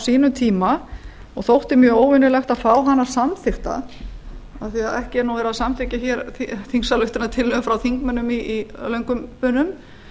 sínum tíma og þótti mjög óvenjulegt að fá hana samþykkta af því að ekki er nú verið að samþykkja hér þingsályktunartillögur frá þingmönnum í löngum bunum